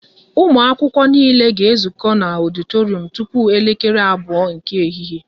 Ụmụ akwụkwọ niile ga ezuko na ọditorum tupu elekere abụọ nke ehihie!